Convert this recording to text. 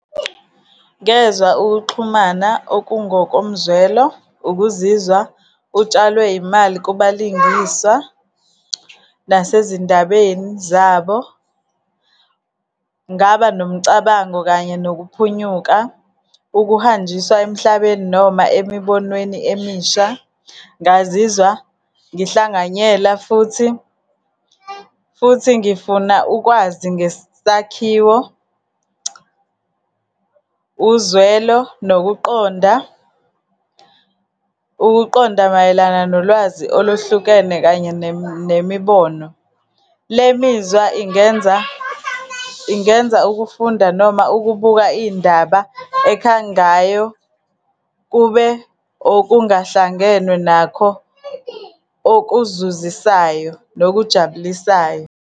Ngezwa ukuxhumana okungokomzwelo, ukuzizwa utshalwe imali kubalingiswa, nasezindabeni zabo. Ngaba nomcabango kanye nokuphunyuka, ukuhanjiswa emhlabeni, noma emibonweni emisha. Ngazizwa ngihlanganyela, futhi, futhi ngifuna ukwazi ngesakhiwo, uzwelo, nokuqonda. Ukuqonda mayelana nolwazi oluhlukene kanye nemibono. Le mizwa ingenza, ingenza ukufunda, noma ukubuka iy'ndaba ekhangayo kube okungahlangenwe nakho okuzuzisayo, nokujabulisayo.